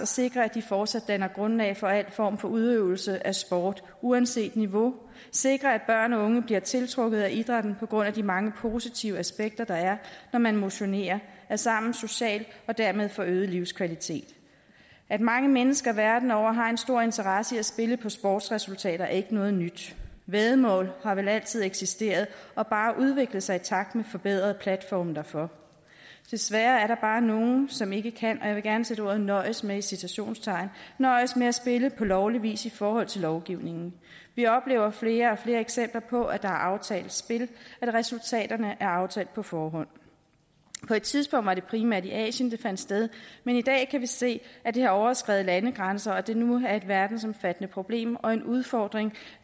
sikre at de fortsat danner grundlag for al form for udøvelse af sport uanset niveau sikre at børn og unge bliver tiltrukket af idrætten på grund af de mange positive aspekter der er når man motionerer er sammen socialt og dermed får øget livskvalitet at mange mennesker verden over har en stor interesse i at spille på sportsresultater er ikke noget nyt væddemål har vel altid eksisteret og bare udviklet sig i takt med forbedrede platforme derfor desværre er der bare nogle som ikke kan og jeg vil gerne sætte ordet nøjes med i citationstegn nøjes med at spille på lovlig vis i forhold til lovgivningen vi oplever flere og flere eksempler på at der er aftalt spil at resultaterne er aftalt på forhånd på et tidspunkt var det primært i asien det fandt sted men i dag kan vi se at det har overskredet landegrænser og det nu er et verdensomfattende problem og en udfordring